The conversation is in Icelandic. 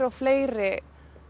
og fleiri